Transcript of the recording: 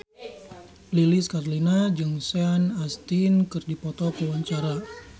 Lilis Karlina jeung Sean Astin keur dipoto ku wartawan